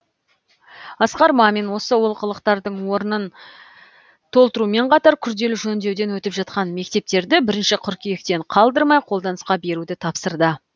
асқар мамин осы олқылықтардың орнын толтырумен қатар күрделі жөндеуден өтіп жатқан мектептерді бірінші қыркүйектен қалдырмай қолданысқа беруді тапсырды